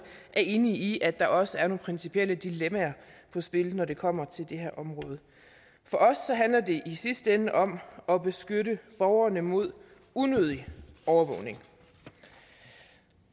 er enige i at der også er nogle principielle dilemmaer på spil når det kommer til det her område for os handler det i sidste ende om at beskytte borgerne mod unødig overvågning